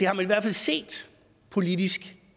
har i hvert fald set politisk